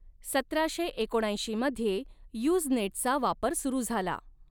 सतराशे एकोणऐंशी मध्ये यूज़नेटचा वापर सुरू झाला.